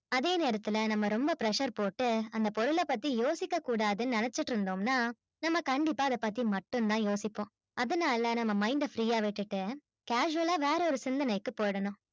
அதே நேரத்துல நம்ம ரொம்ப pressure போட்டு அந்த பொருளை பத்தி யோசிக்க கூடாதுன்னு நினைச்சுட்டு இருந்தோம்னா நம்ம கண்டிப்பா அதை பத்தி மட்டும்தான் யோசிப்போம் அதனால நம்ம mind அ free அ விட்டுட்டு casual ஆ வேற ஒரு சிந்தனைக்கு போயிடணும்